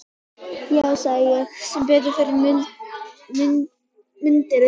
Já, sagði ég, sem betur fer mundirðu kannski segja.